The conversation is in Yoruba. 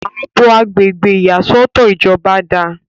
àbò agbègbè ìyàsọ́tọ̀ ìjọba dáa